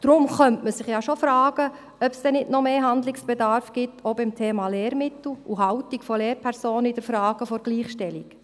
Deswegen könnte man sich schon fragen, ob denn nicht noch mehr Handlungsbedarf besteht, auch beim Thema Lehrmittel und Haltung von Lehrpersonen in der Frage der Gleichstellung.